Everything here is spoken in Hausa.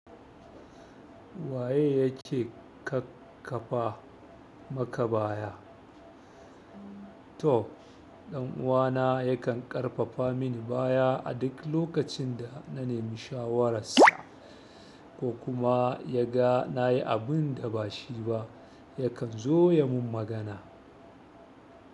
Waye yake ƙarfafa maka baya? To dan'uwana yakan ƙarfafa mini baya a duk lokacin da na nemi shawararsa ko kuma yaga nayi abunda bashi ba yakan zo yamin magana.